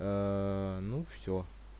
ну все